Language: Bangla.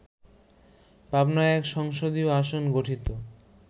পাবনা-১ সংসদীয় আসন গঠিত